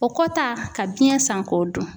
O kɔ ta ka biyɛn san k'o dun